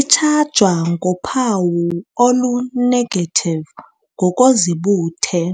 |Itshajwa ngophawu olu-negative ngokozibuthe,